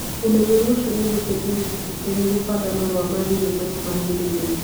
Ũmenyeru ũcio nĩ ũgũteithia gĩkundi kĩanyu kũbanga marũa ma thĩinĩ marĩa magĩrĩire.